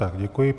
Tak děkuji.